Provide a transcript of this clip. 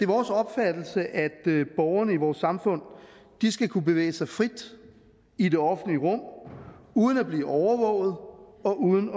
vores opfattelse at borgerne i vores samfund skal kunne bevæge sig frit i det offentlige rum uden at blive overvåget og uden